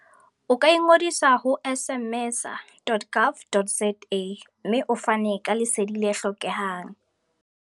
O ka ingodisa ho smmesa.gov.za. mme o fane ka Lesedi le hlokehang.